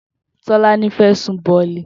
Tolani fè sùún bọ̀lí